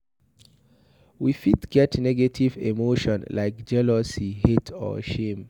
We fit get negative emotion like jealousy, hate or shame